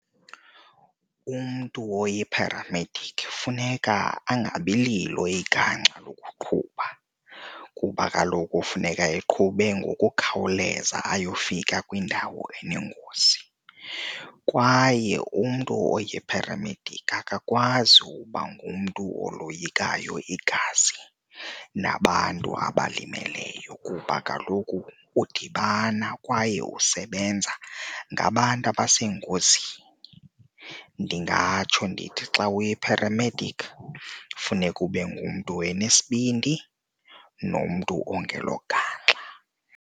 Umntu oyipharamediki funeka angabi lilo igangxa lokuqhuba kuba kaloku funeka eqhube ngokukhawuleza ayofika kwindawo enengozi. Kwaye umntu oyipharamediki akakwazi uba ngumntu oloyikayo igazi nabantu abalimeleyo kuba kaloku udibana kwaye usebenza ngabantu abasengozini. Ndingatsho ndithi xa uyipharamediki funeka ube ngumntu one sibindi nomntu ongelogangxa.